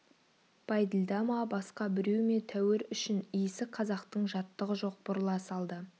бәйділда ма басқа біреу ме тәуір үшін иісі қазақтың жаттығы жоқ бұрыла салды